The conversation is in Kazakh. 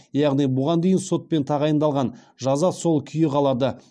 яғни бұған дейін сотпен тағайындалған жаза сол күйі қалады